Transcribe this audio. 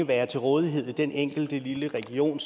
være til rådighed ved den enkelte lille region